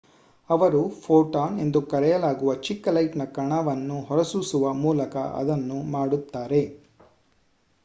"ಅವರು "ಫೋಟಾನ್" ಎಂದು ಕರೆಯಲಾಗುವ ಚಿಕ್ಕ ಲೈಟ್‌ನ ಕಣವನ್ನು ಹೊರಸೂಸುವ ಮೂಲಕ ಅದನ್ನು ಮಾಡುತ್ತಾರೆ.